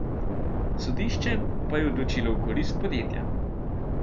Sodišče pa je odločilo v korist podjetja.